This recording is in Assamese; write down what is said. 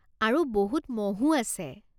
আৰু বহুত মহো আছে।